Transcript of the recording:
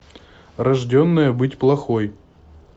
рожденная быть плохой